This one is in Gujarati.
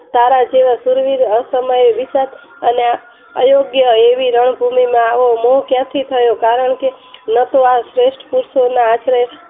તારા જેવા સુરવીર અસમયે વિષાદ અને અયોગ્ય એવી રણભૂમિમાં આવો મોહ ક્યાંથી થયો કારણ કે ન તો આ શ્રેષ્ઠ